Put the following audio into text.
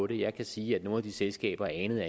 det jeg kan sige at nogle af de selskaber anede